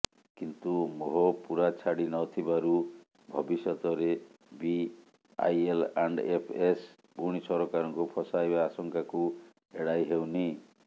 କିନ୍ତୁ ମୋହ ପୂରା ଛାଡ଼ି ନଥିବାରୁ ଭବିଷ୍ୟତରେ ବି ଆଇଏଲ୍ଆଣ୍ଡଏଫ୍ଏସ୍ ପୁଣି ସରକାରଙ୍କୁ ଫସାଇବା ଆଶଙ୍କାକୁ ଏଡ଼ାଇ ହେଉନି